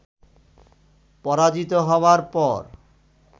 পরাজিত হবার পর